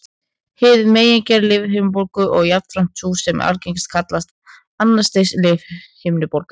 Hin megingerð lífhimnubólgu, og jafnframt sú sem er algengari, kallast annars stigs lífhimnubólga.